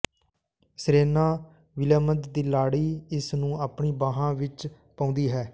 Serena Williams ਦੀ ਲਾੜੀ ਇਸ ਨੂੰ ਆਪਣੀਆਂ ਬਾਹਾਂ ਵਿਚ ਪਾਉਂਦੀ ਹੈ